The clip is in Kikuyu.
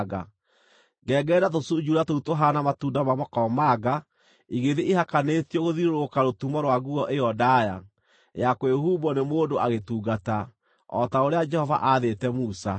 Ngengere na tũcunjuura tũu tũhaana matunda ma makomamanga igĩthiĩ ihakanĩtio gũthiũrũrũka rũtumo rwa nguo ĩyo ndaaya; ya kwĩhumbwo nĩ mũndũ agĩtungata, o ta ũrĩa Jehova aathĩte Musa.